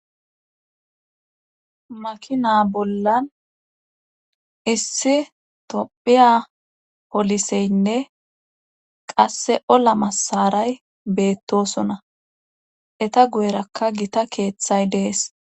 Makina bollan issi tophiya poliseynne qasse ola masaray beettosona eta guyerakka gita keeththay dees.